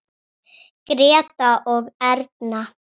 Grétar og Erna.